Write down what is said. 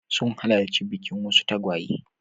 Sun halarci bikin wasu tagwaye.